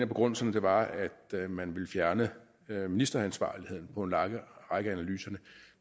begrundelser var at man vil fjerne ministeransvarligheden for en række af analyserne